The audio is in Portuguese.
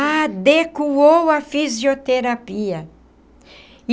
Adequou à fisioterapia.